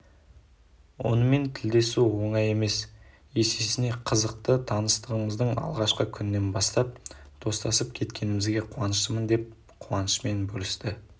онымен тілдесу оңай емес есесіне қызықты таныстығымыздың алғашқы күнінен бастап достасып кеткенімізге қуаныштымын деп қуанышымен бөлісті